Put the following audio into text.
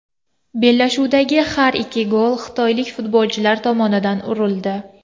Bellashuvdagi har ikki gol xitoylik futbolchilar tomonidan urildi.